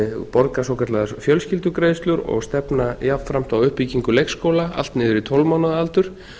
borga svokallaðar fjölskyldugreiðslur og stefna jafnframt á uppbyggingu leikskóla allt niður í tólf mánaða aldur